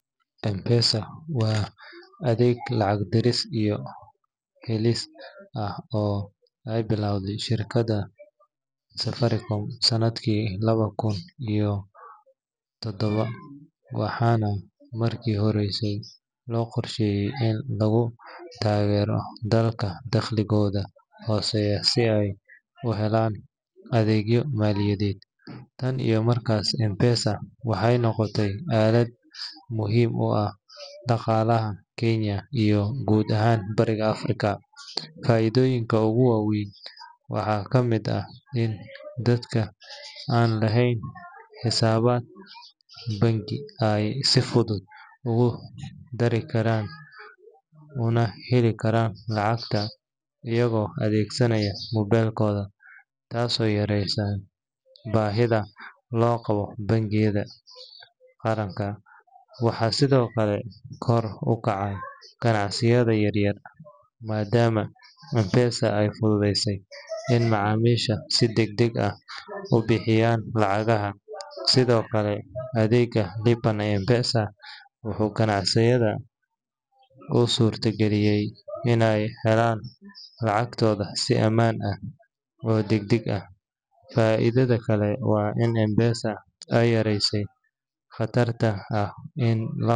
mpesa waa adeeg lacag diris iyo helis ah oo ay bilawdi shirkada safaricom sanadki lawa kun iyo todhaba. Waxana marki horeysay loqorshey in lagu tageero dalka taqligodha hoseya si ay u helaan adeegya maliyadhed taan iyo markas mpesa waxay noqotay aalad muhim u ah daqalaha Kenya iyo gud ahaan bariga Africa. Faidhoyinka ugu waweyn waxa kamid ah in dadka an lahen xisaabad bangi ay si fudhud ugu dari Karan una Heli Karan lacagta iyago adeegsanaya mobelkodha. Taaso yareysa bahidha loqaba bangiyadha qaranka. Waxa sidhokale kor ukaca ganacsayadha yaryar madaama mpesa ay fudhudheysi in macamisha si dag dag ah u bixinayan Lacagaha sidhokale adeega lipa na mpesa waxu ganacsayadha u surta galiyay inay helaan lacagtodha si amaan ah oo dag dag ah. Faidhadha kale wa in mpesa ay yareysi qatarta ah in la